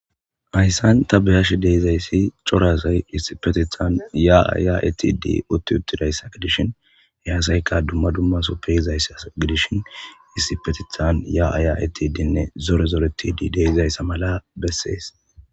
hayssan ta beyash deizayssi cora asay issipetethan yaa7a ya7etidi utti uttidayssa gidishin he asayka dumma dummasoppe yizayssa gidishin isipetithan ya7a ya7etidinne zore zoretidi dee7izayssa mala bessees